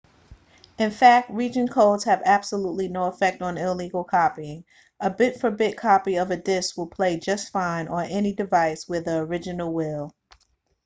in fact region codes have absolutely no effect on illegal copying a bit-for-bit copy of a disk will play just fine on any device where the original will